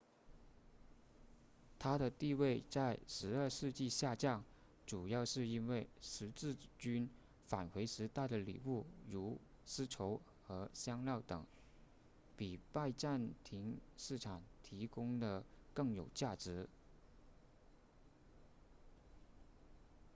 它的地位在十二世纪下降主要是因为十字军返回时带的礼物如丝绸和香料等比拜占庭市场提供的更有价值